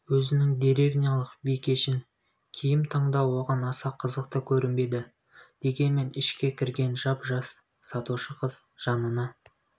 өзінің деревнялық бикешін киім таңдау оған аса қызықты көрінбеді дегенмен ішке кірген жап-жас сатушы қыз жанына